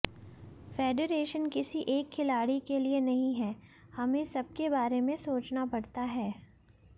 federation किसी एक खिलाड़ी के लिए नहीं है हमें सबके बारे में सोचना पड़ता है